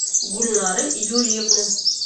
гульнары юрьевны